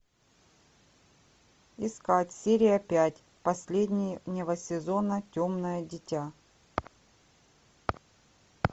искать серия пять последнего сезона темное дитя